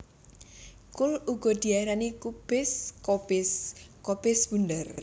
Kul uga diarani kubis kobis kobis bunder